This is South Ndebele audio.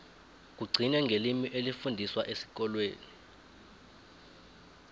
kugcine ngelimi elifundiswa esikolweni